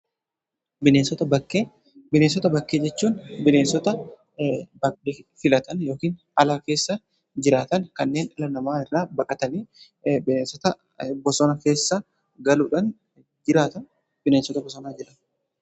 Bineensota bakkee: Bineensota bakkee jechuun bineensota bakkee filatan yookiin ala keessa jiraatan kanneen dhala namaa irraa baqatanii bineensota bosona keessa galuudhaan jiraatan bineensota bosonaa jenna.